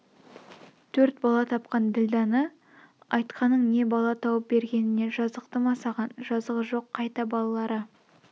төрт бала тапқан ділдәны айтқаның не бала тауып бергеніне жазықты ма саған жазығы жоқ қайта балалары